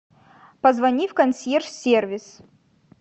позвони в консьерж сервис